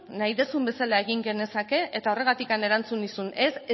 nahi duzun bezala egin genezaken eta horregatik erantzun nizun ez